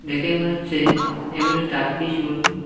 দেখে মনে হচ্ছে এগুলো টার্কিস মুরগি।